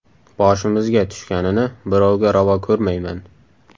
Boshimizga tushganini birovga ravo ko‘rmayman.